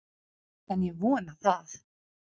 En ég vona það!